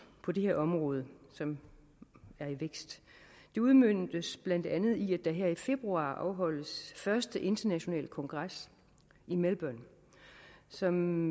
på det her område som er i vækst udmøntes blandt andet i at der her i februar afholdes den første internationale kongres i melbourne som